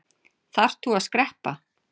Þarft þú að skreppa?